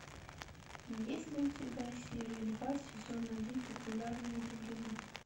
есть ли у тебя серия два сезона один популярна и влюблена